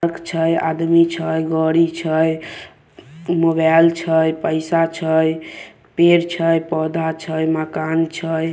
सड़क छै आदमी छै गाड़ी छै मोबाइल छै पइसा छै पेड़ छै पौधा छै मकान छै।